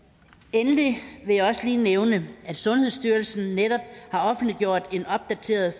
endelig vil jeg også lige nævne at sundhedsstyrelsen netop har offentliggjort en opdateret